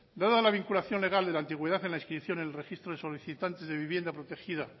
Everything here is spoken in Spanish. dada la vinculación legal de la antigüedad en la inscripción del registro de los solicitantes de vivienda protegida